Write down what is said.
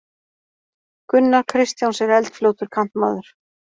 Gunnar Kristjáns er eldfljótur kantmaður.